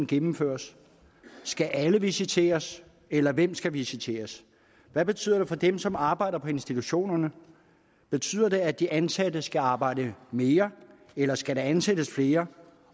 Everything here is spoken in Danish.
gennemføres skal alle visiteres eller hvem skal visiteres hvad betyder det for dem som arbejder på institutionerne betyder det at de ansatte skal arbejde mere eller skal der ansættes flere